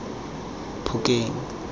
phokeng